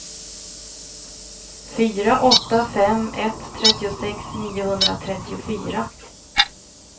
fyra åtta fem ett trettiosex niohundratrettiofyra